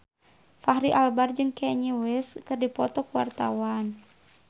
Fachri Albar jeung Kanye West keur dipoto ku wartawan